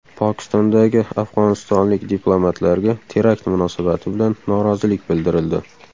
Pokistondagi afg‘onistonlik diplomatlarga terakt munosabati bilan norozilik bildirildi.